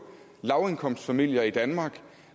lavindkomstfamilier i danmark